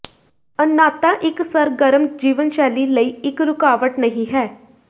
ਅੰਨ੍ਹਾਤਾ ਇੱਕ ਸਰਗਰਮ ਜੀਵਨਸ਼ੈਲੀ ਲਈ ਇੱਕ ਰੁਕਾਵਟ ਨਹੀ ਹੈ